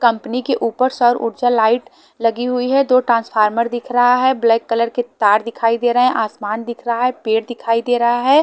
Company के ऊपर सौरऊर्जा लाइट लगी हुई है दो ट्रांसफार्मर दिख रहा है ब्लैक कलर के तार दिखाई दे रहे हैं आसमान दिख रहा है पेड़ दिखाई दे रहा है।